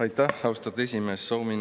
Aitäh, austatud esimees!